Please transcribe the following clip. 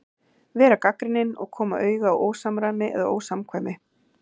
Vera gagnrýnin og koma auga á ósamræmi eða ósamkvæmni.